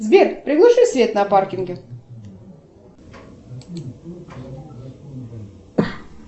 сбер приглуши свет на паркинге